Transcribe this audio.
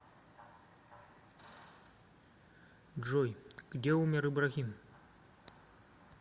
джой где умер ибрахим